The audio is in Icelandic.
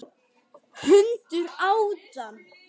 Hundur át hann.